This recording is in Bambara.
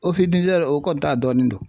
o kɔni ta dɔnni do.